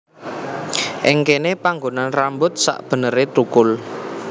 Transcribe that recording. Ing kéné panggonan rambut sakbeneré tukul